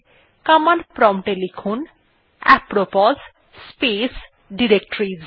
command prompt এ লিখুন apropos space directories